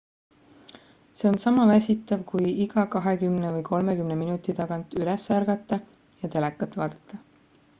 see on sama väsitav kui iga kahekümmne või kolmekümne minuti tagant üles ärgata ja telekat vaadata